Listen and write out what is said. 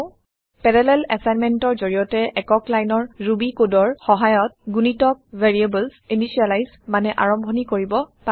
parallel assignmentৰ যৰিয়তে একক লাইনৰ ৰুবি কডৰ সহায়ত গুণিতক ভেৰিয়েবল ইনিচিয়েলাইজ মানে আৰম্ভনি কৰিব পাৰি